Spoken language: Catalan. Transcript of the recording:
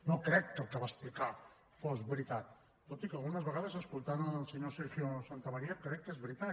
no crec que el que va explicar fos veritat tot i que algunes vegades escoltant el senyor sergio santamaría crec que és veritat